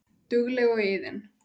Dugleg og iðin.